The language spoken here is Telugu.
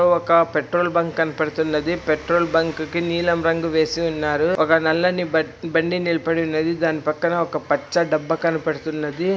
ఒక పెట్రోల్ బంక్ కనబడుతున్నది. పెట్రోల్ బంక్ కి నీలం రంగు వేసి ఉన్నారు. ఒక నల్లని బట్టి బండి నిలబడి ఉన్నది. దాని పక్కన ఒక పచ్చ డబ్బా కనబడుతున్నది.